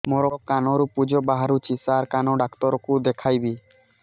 ମୋ କାନରୁ ପୁଜ ବାହାରୁଛି ସାର କାନ ଡକ୍ଟର କୁ ଦେଖାଇବି